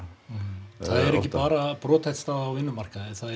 það er ekki bara brothætt staða á vinnumarkaði það er